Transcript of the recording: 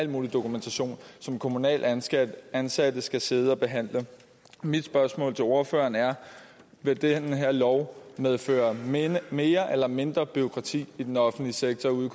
mulig dokumentation som kommunalt ansatte ansatte skal sidde og behandle mit spørgsmål til ordføreren er vil den her lov medføre mere eller mindre bureaukrati i den offentlige sektor ude